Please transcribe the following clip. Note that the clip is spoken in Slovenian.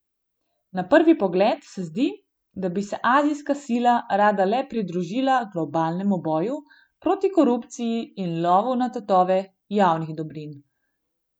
Na prvi pogled se zdi, da bi se azijska sila rada le pridružila globalnemu boju proti korupciji in lovu na tatove javnih dobrin.